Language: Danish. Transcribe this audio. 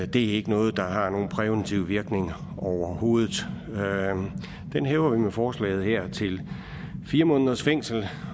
det er ikke noget der har nogen præventiv virkning overhovedet den hæver vi med forslaget her til fire måneders fængsel